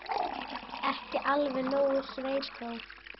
Ekki alveg nógu sveitó.